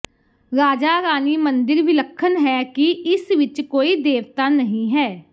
ਰਾਜਾਰਾਨੀ ਮੰਦਿਰ ਵਿਲੱਖਣ ਹੈ ਕਿ ਇਸ ਵਿਚ ਕੋਈ ਦੇਵਤਾ ਨਹੀਂ ਹੈ